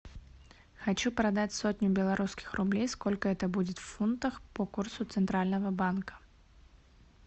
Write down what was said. хочу продать сотню белорусских рублей сколько это будет в фунтах по курсу центрального банка